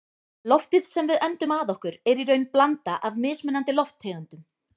Loftið sem við öndum að okkur er í raun blanda af mismunandi lofttegundum.